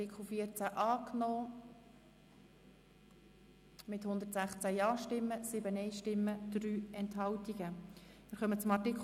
Sie haben dem Artikel 14 mit 116 Ja- gegen 7 Nein-Stimmen bei 3 Enthaltungen zugestimmt.